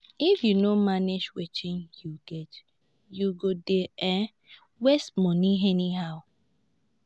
if yu no manage wetin yu get yu go dey um waste money anyhow.